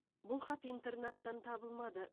бұл хат интернаттан табылмады